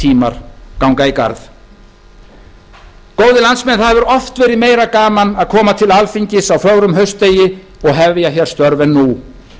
tímar ganga í garð góðir landsmenn það hefur oft verið meira gaman að koma til alþingis á fögrum haustdegi og hefja hér störf en nú